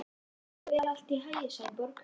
Gangi þér allt í haginn, Sæborg.